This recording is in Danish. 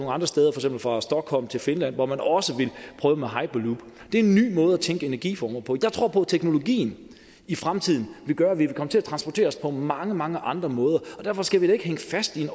andre steder som for stockholm til finland hvor man også vil prøve med hyperloop det er en ny måde at tænke energiformer på jeg tror på at teknologien i fremtiden vil gøre at vi vil komme til at transportere os på mange mange andre måder og derfor skal vi da ikke hænge fast i